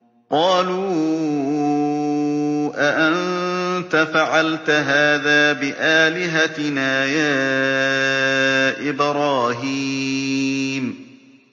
قَالُوا أَأَنتَ فَعَلْتَ هَٰذَا بِآلِهَتِنَا يَا إِبْرَاهِيمُ